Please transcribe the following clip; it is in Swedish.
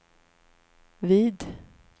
vid